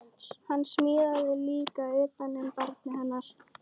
Hann smíðaði líka utan um barnið hennar